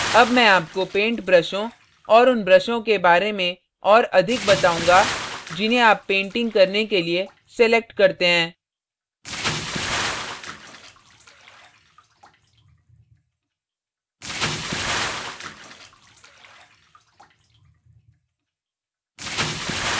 अब मैं आपको पेंट ब्रशों और उन ब्रशों के बारे में और अधिक बताउंगा जिन्हें आप painting करने के लिए select करते हैं